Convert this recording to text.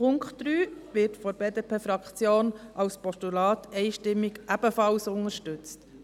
Der Punkt 3 wird von der BDP-Fraktion als Postulat ebenfalls einstimmig unterstützt.